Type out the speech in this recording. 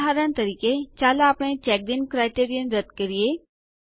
ઉદાહરણ તરીકે ચાલો આપણે ચેક્ડ ઇન ક્રાઈટેરિયન રદ્દ કરીએ